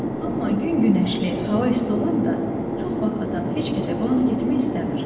Amma gün günəşli, hava isti olanda çox vaxt adam heç kəsə qonaq getmək istəmir.